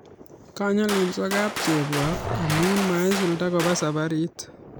Kanyalilso kap chebwa amu maisulda kopa saparit